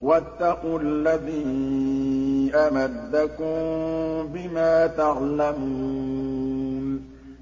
وَاتَّقُوا الَّذِي أَمَدَّكُم بِمَا تَعْلَمُونَ